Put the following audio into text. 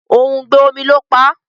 òùngbẹ omí ló pá.